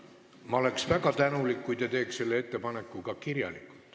Ma oleks väga tänulik, kui te teeks selle ettepaneku ka kirjalikult.